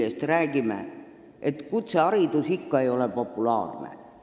Me räägime, et kutseharidus ei ole populaarne.